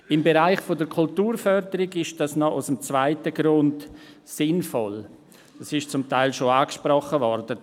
Im Bereich der Kulturförderung ist dies noch aus einem zweiten Grund sinnvoll, es ist zum Teil schon angesprochen worden: